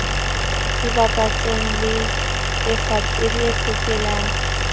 e bapatsang le e fepelang